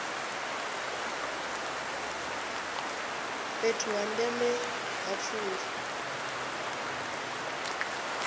fhethu ha ndeme ha pfunzo